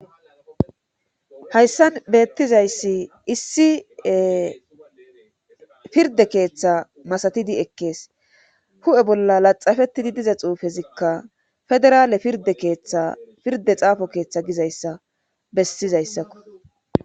hayssan beettizayssi issi pirde keeththa masatidi ekkees hu7e bolla laxafettidi diza xuufezikka federaale pirde keeththa pirde xaafo keeththa gizayssa bessizayssakko